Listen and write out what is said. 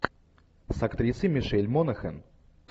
с актрисой мишель монахэн